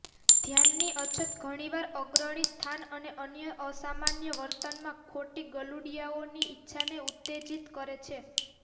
ધ્યાનની અછત ઘણીવાર અગ્રણી સ્થાન અને અન્ય અસામાન્ય વર્તનમાં ખોટી ગલુડિયાઓની ઇચ્છાને ઉત્તેજિત કરે છે